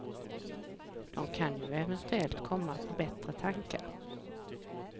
De kan ju eventuellt komma på bättre tankar.